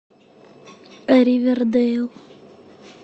ривердейл